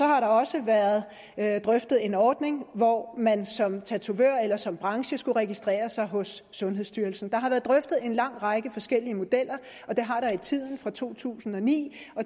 har også været drøftet en ordning hvor man som tatovør eller som branche skulle registrere sig hos sundhedsstyrelsen der har været drøftet en lang række forskellige modeller og det har der i tiden fra to tusind og ni